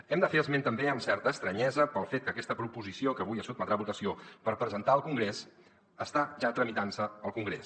hem de fer esment també amb certa estranyesa del fet que aquesta proposició que avui es sotmetrà a votació per presentar al congrés està ja tramitant se al congrés